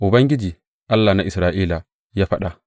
Ubangiji, Allah na Isra’ila, ya faɗa.